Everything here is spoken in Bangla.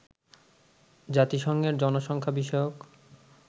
জাতিসংঘের জনসংখ্যা বিষয়ক